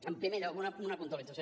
en primer lloc una puntualització